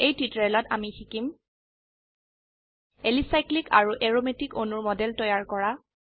এই টিউটোৰিয়েলত আমি শিকিম এলিচাইক্লিক অ্যালিসাইক্লিক আৰু এৰোমেটিক অ্যাৰোম্যাটিক অণুৰ মডেল তৈয়াৰ কৰা